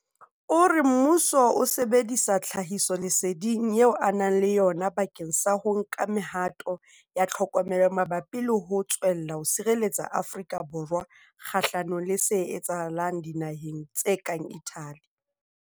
O re mmuso o sebedisa tlhahisoleseding eo o nang le yona bakeng sa ho nka me-hato ya tlhokomelo mabapi le ho tswella ho sireletsa Afrika Borwa kgahlanong le se etsahetseng dinaheng tse kang Italy.